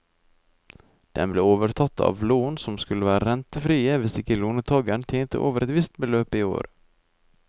Den ble overtatt av lån som skulle være rentefrie hvis ikke låntageren tjente over et visst beløp i året.